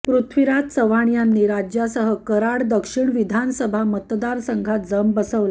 पृथ्वीराज चव्हाण यांनी राज्यासह कराड दक्षिण विधानसभा मतदारसंघात जम बसवला